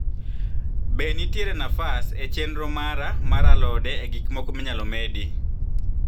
be ntiere nafas e chenro mara mar alode e gik moko minyalo medi